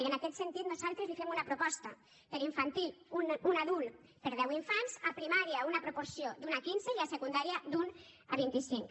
i en aquest sentit nosaltres li fem una proposta per a infantil un adult per a deu infants a primària una proporció d’un a quinze i a secundària d’un a vint i cinc